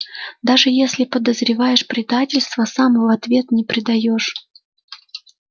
даже если подозреваешь предательство сам в ответ не предаёшь